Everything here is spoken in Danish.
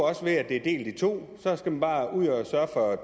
at det her bliver delt i to så skal man bare ud og sørge for at